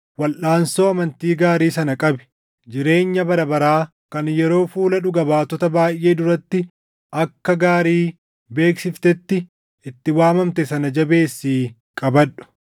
Walʼaansoo amantii gaarii sana qabi. Jireenya bara baraa kan yeroo fuula dhuga baatota baayʼee duratti akka gaarii beeksiftetti itti waamamte sana jabeessii qabadhu.